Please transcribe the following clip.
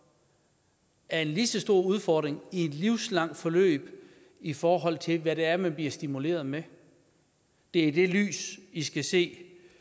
er en lige så stor udfordring i et livslangt forløb i forhold til hvad det er man bliver stimuleret med det er i det lys vi skal se